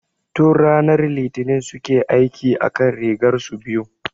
Tun ranar Litinin suke aiki akan rigar su biyun